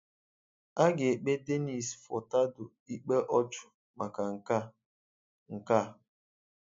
A ga-èkpé Denis Furtado ikpe ọ̀chụ̀ maka nke a. nke a.